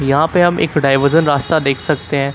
यहां पे हम एक डाइवर्जन रास्ता देख सकते हैं।